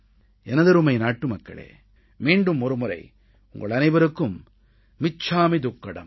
எனதருமை நாட்டுமக்களே மீண்டும் ஒருமுறை உங்கள் அனைவருக்கும் மிச்சாமீ துக்கடம்